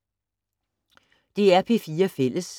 DR P4 Fælles